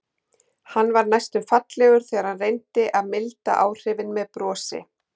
Hann varð næstum fallegur þegar hann reyndi að milda áhrifin með brosi.